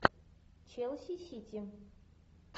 челси сити